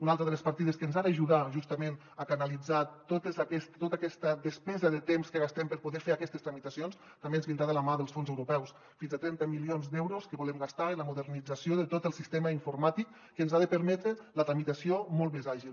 una altra de les partides que ens ha d’ajudar justament a canalitzar tota aquesta despesa de temps que gastem per poder fer aquestes tramitacions també ens vindrà de la mà dels fons europeus fins a trenta milions d’euros que volem gastar en la modernització de tot el sistema informàtic que ens ha de permetre la tramitació molt més àgil